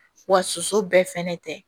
Wa soso bɛɛ fɛnɛ tɛ